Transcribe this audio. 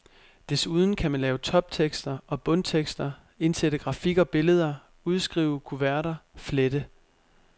Desuden kan man lave toptekster og bundtekster, indsætte grafik og billeder, udskrive kuverter, flette.